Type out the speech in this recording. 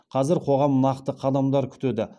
қазір қоғам нақты қадамдар күтеді